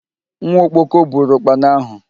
Nwa okpoko buru ụkpana ahụ